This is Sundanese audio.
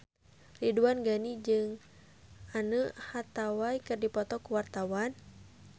Ridwan Ghani jeung Anne Hathaway keur dipoto ku wartawan